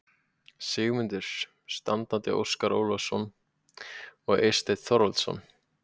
Sigmundsson, standandi Óskar Ólafsson og Eysteinn Þorvaldsson.